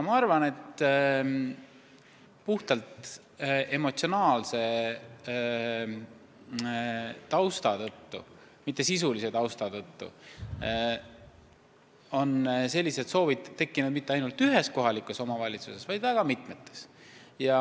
Ma arvan, et puhtalt emotsionaalse tausta tõttu, mitte sisulise tausta tõttu, on sellised soovid tekkinud mitte ainult ühes kohalikus omavalitsuses, vaid mitmes.